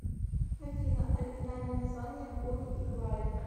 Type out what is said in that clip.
афина оригинальное название бонни и клайд